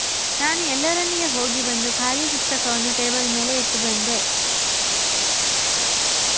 ನಾನು ಎಲ್ಲರೊಂದಿಗೆ ಹೋಗಿ ಬಂದು ಖಾಲಿ ಪುಸ್ತಕವನ್ನು ಟೇಬಲ್ ಮೇಲೆ ಇಟ್ಟು ಬಂದೆ